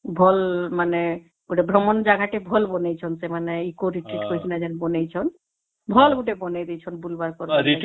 ଭଲ ଲାଗେ ମାନେ ଗୋଟେ ଭ୍ରମଣ ଜାଗା ଟେ ଭଲ ବନେଇଛନ୍ତି ସେମାନେ eco retreat କରିକି ଯେମିତି ବଣେଇଛନ ଭଲ ଗୋଟେ ବଣେଇଛନ ବୁଲିବାର ଲାଗି